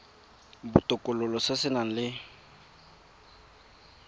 botokololo se se nang le